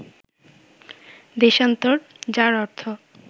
দেশান্তর, যার অর্থ